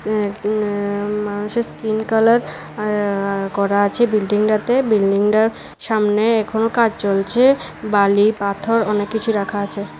এটি একটি আ মানুষের স্কিন কালার আ করা আছে বিল্ডিংটাতে বিল্ডিংটার সামনে এখনও কাজ চলছে বালি পাথর অনেককিছু রাখা আছে।